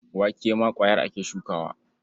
Wake ma ƙwayar ake shukawa.